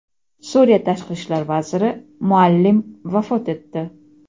Suriya Tashqi ishlar vaziri Muallim vafot etdi.